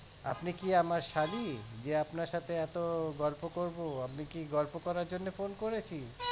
আপনি কি আমার শালী যে আপনার সাথে এতো করবো আমি কি গল্প করার জন্য phone করেছি